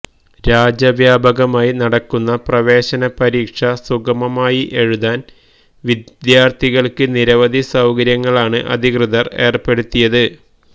രാജ്യവ്യാപകമായി നടക്കുന്ന പ്രവേശന പരീക്ഷ സുഗമമായി എഴുതാന് വിദ്യാര്ത്ഥികള്ക്ക് നിരവധി സൌകര്യങ്ങളാണ് അധികൃതര് ഏര്പ്പെടുത്തിയത്